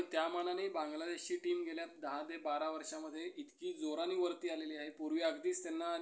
आणि त्यामानानी बांगलादेशची टीम गेल्या दहा ते बारा वर्षांमध्ये इतकी जोरानी वरती आलेली आहे. पूर्वी अगदीच त्यांना